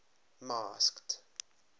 masked